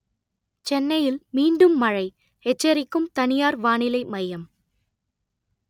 சென்னையில் மீண்டும் மழை எச்சரிக்கும் தனியார் வானிலை மையம்